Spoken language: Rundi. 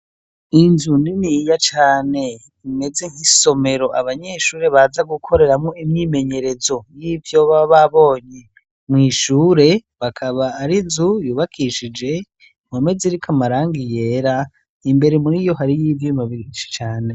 Inzu niniya cane imeze nkisomero abanyeshure baza gukoreramwo imyimenyerezo yivyo baba babonye, mwishure bakaba arizo bubakishije impome ziriko amarangi yera imbere muriyo harimwo ivyuma vyinshi cane .